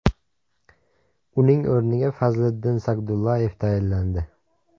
Uning o‘rniga Fazliddin Sagdullayev tayinlandi.